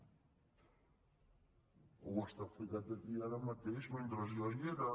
vostè ho ha explicat aquí ara mateix mentre jo hi era